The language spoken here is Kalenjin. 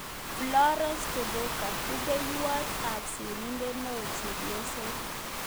Florence Turuka-Rupeiywot ap sirindet neoo-Chepyoso